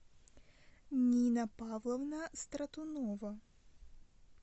нина павловна стратунова